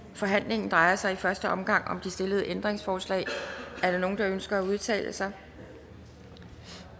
forhandlingen drejer sig i første omgang om de stillede ændringsforslag er der nogen der ønsker at udtale sig